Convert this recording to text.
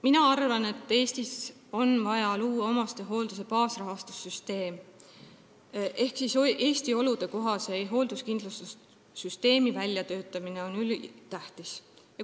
Mina arvan, et Eestis on vaja luua omastehoolduse baasrahastuse süsteem ehk Eesti oludesse sobiva hoolduskindlustussüsteemi väljatöötamine on ülitähtis.